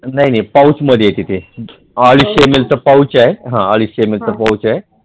नाही नाही पौचमध्ये येते ते अडीचशे ml चा पौच आहे